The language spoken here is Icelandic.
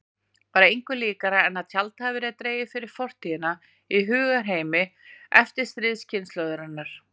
Var engu líkara en tjald hefði verið dregið fyrir fortíðina í hugarheimi eftirstríðskynslóðarinnar.